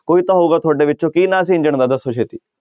ਕੋਈ ਤਾਂ ਹੋਊਗਾ ਤੁਹਾਡੇ ਵਿੱਚੋਂ ਕੀ ਨਾਂ ਸੀ ਇੰਜਣ ਦਾ, ਦੱਸੋ ਛੇਤੀ।